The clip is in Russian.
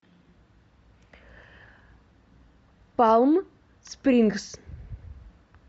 палм спрингс